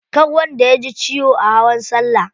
Kar wanda yaji ciwo a hawan salla.